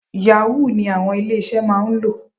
Yahoo ni àwọn ilé-iṣẹ́ máa ń lò.